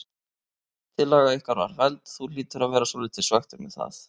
Tillaga ykkar var felld, þú hlýtur að vera svolítið svekktur með það?